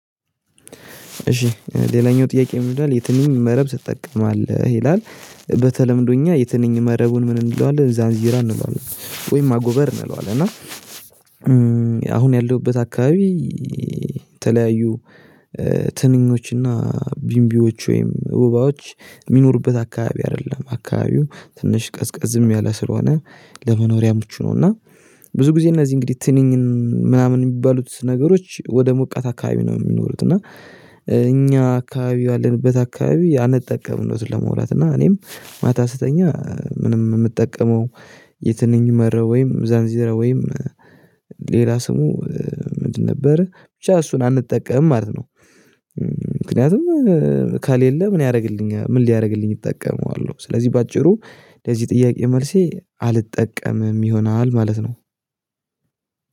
እሺ ሌላኛው ጥያቄ ምን ይላል የትኛውን መረብ ትጠቀማለህ ይላል? በተለምዶ እኛ የትንኝ መረቡን ምን እንለዋለን ዛንዚራ እንለዋለን ወይም አጎበር እንለዋለን እና አሁን ያለሁበት አካባቢ የተለያዩ ትንኞችና ቢንቢዎች ወይም ወባዎች የሚኖሩበት አካባቢ አይደለም አካባቢው ትንሽ ቀዝቀዝም ያለም ስለሆነ ለመኖሪያ ምቹ ነው። እና ብዙ ጊዜ እነዚህ እንግዲህ ትንኝን ምናምን የሚባሉት ነገሮች ወደ ሞቃታ አካባቢ ነው የሚኖሩት እና። እኛ አካባቢ ያለንበት አካባቢ አንጠቀምም እውነቱን ለማውራት እና እኔም ማታ ስተኛ ምንም የምጠቀመው የትንኝ መረብ ወይም ዛንዚራ ወይም ሌላ ስሙ ምንድን ነበር ብቻ እሱን አንጠቀምም ማለት ነው። ምክንያቱም ካሌለ ምን ያደርግልኛል ምን ሊያደርግልኝ እጠቀመዋለሁ? ስለዚህ በአጭሩ ለዚህ ጥያቄ መልሴ አልጠቀምም ይሆናል ማለት ነው።